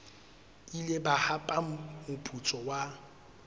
ile ba hapa moputso wa